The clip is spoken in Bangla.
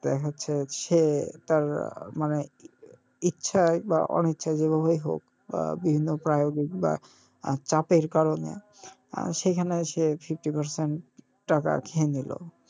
দেখা যাচ্ছে সে তার মানে ইচ্ছায় বা অনিচ্ছায় যেভাবেই হোক বা বিভিন্ন বা চাপের কারনে আহ সেখানে সে fifty percent টাকা খেয়ে নিলো,